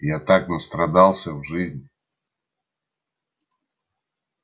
я так настрадался в жизни